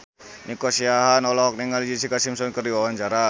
Nico Siahaan olohok ningali Jessica Simpson keur diwawancara